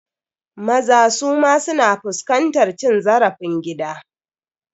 Maza suma su na fuskantar cin zarafin gida.